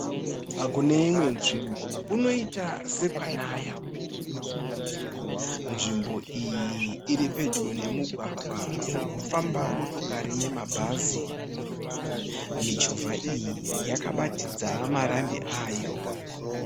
Kune imwe nzvimbo kunoiita sekwanaya, nzvimbo iyi iri pedyo nemugwagwa uri kufamba motokari nemabhazi. Michovha iyi yakabatidza marambi ayo.